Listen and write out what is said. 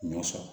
N y'o sɔrɔ